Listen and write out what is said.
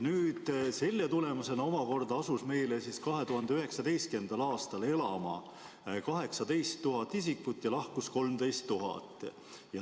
Selle tulemusena omakorda asus meile 2019. aastal elama 18 000 isikut ja lahkus 13 000.